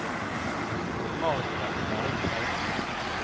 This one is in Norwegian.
Margaret Bergheim